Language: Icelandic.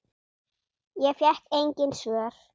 Ég fékk engin svör.